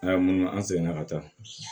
A munu an seginna ka taa